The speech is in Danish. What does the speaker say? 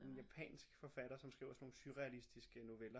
En japansk forfatter som skriver sådan nogle surrealistiske noveller